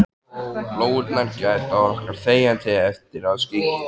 Lóurnar gæta okkar þegjandi eftir að skyggir.